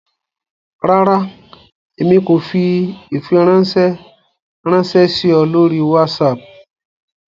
Rárá, Èmi ko fí ifiranṣẹ ranṣẹ sí ọ lórí WhatsApp